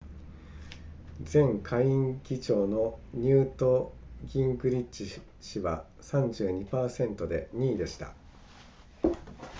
前下院議長のニュートギングリッチ氏は 32% で2位でした